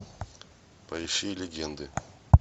поищи легенды